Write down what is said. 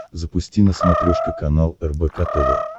запусти на смотрешке канал рбк тв